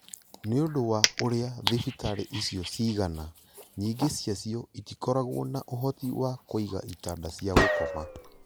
Nĩ ũndũ wa ũrĩa thibitarĩ icio cigana, nyingĩ ciacio itikoragwo na ũhoti wa kũiga itanda cia gũkoma